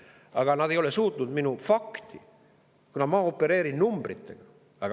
Aga nad ei ole suutnud minu esitatud fakti, kuna ma opereerin numbritega.